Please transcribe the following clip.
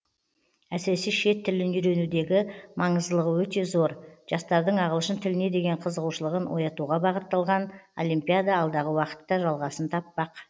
әсіресе шет тілін үйренудегі маңыздылығы өте зор жастардың ағылшын тіліне деген қызығушылығын оятуға бағытталған олимпиада алдағы уақытта жалғасын таппақ